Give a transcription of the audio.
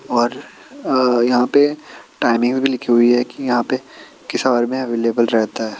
और अ यहाँ पे टाइमिंग भी लिखी हुई है कि यहाँ पे किस आवर में अवलेबल रहता है।